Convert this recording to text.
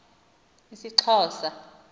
isxhosa